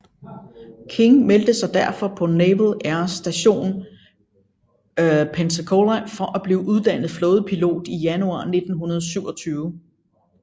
King meldte sig derfor på Naval Air Station Pensacola for at blive uddannet flådepilot i januar 1927